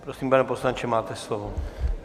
Prosím, pane poslanče, máte slovo.